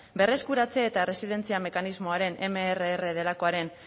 berreskuratzea eta erresilientzia mekanismoaren mrr delakoaren